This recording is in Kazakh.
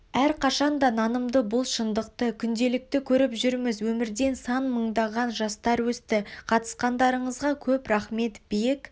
әрқашанда нанымды бұл шындықты күнделікті көріп жүрміз өмірден сан мыңдаған жастар өсті қатысқандарыңызға көп рахмет биік